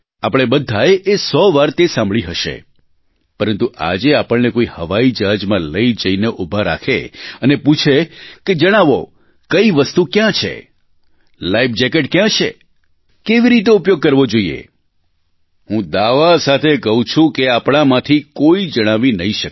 આપણે બધાએ એ સો વાર તે સાંભળી હશે પરંતુ આજે આપણને કોઇ હવાઇજહાજમાં લઇ જઇને ઊભા રાખે અને પૂછે કે જણાવો કઇ વસ્તુ ક્યાં છે લાઇફ જેકેટ ક્યાં છે કેવી રીતે ઉપયોગ કરવો જોઇએ હું દાવા સાથે કહું છું કે આપણામાંથી કોઇ જણાવી નહીં શકે